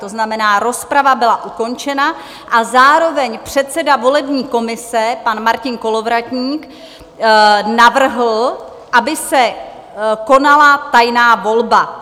To znamená, rozprava byla ukončena a zároveň předseda volební komise pan Martin Kolovratník navrhl, aby se konala tajná volba.